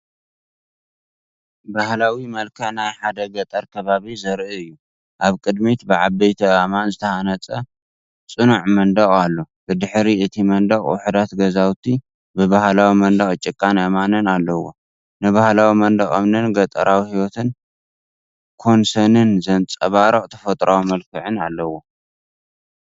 ባህላዊ መልክዕ ናይ ሓደ ገጠር ከባቢ ዘርኢ እዩ። ኣብ ቅድሚት ብዓበይቲ ኣእማን ዝተሃንጸ ጽኑዕ መንደቕ ኣሎ። ብድሕሪ እቲ መንደቕ ውሑዳት ገዛውቲ ብባህላዊ መንደቕ ጭቃን እምንን ኣለዉ። ንባህላዊ መንደቕ እምንን ገጠራዊ ህይወት ኮንሰንን ዘንጸባርቕ ተፈጥሮኣዊ መልክዕ ኣለዎ።